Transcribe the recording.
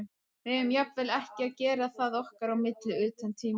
Við eigum jafnvel ekki að gera það okkar á milli utan tímanna.